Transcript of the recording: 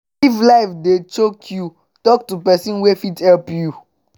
if life dey choke yu talk to pesin wey fit help yu